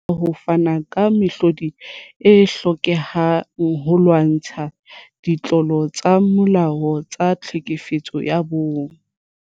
Re le mmuso, re na le mosebetsi le boikarabelo ba ho fana ka mehlodi e hlokehang holwantshwa ditlolo tsa molao tsa tlhekefetso ya bong.